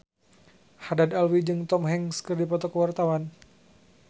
Haddad Alwi jeung Tom Hanks keur dipoto ku wartawan